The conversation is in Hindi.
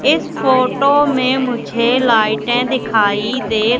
इस फोटो में मुझे लाईटें दिखाई दे--